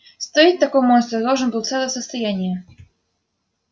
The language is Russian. стоить такой монстр должен был целое состояние